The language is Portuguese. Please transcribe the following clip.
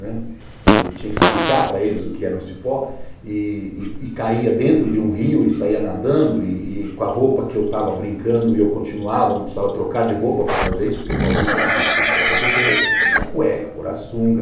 Né, tinha que explicar para eles o que era um cipó, e e caía dentro de um rio e saía nadando, e com a roupa que eu estava brincando e eu continuava, não precisava trocar de roupa para fazer isso, porque o paulista é o seguinte, tem que trocar de roupa, tem que tirar cueca, pôr a sunga.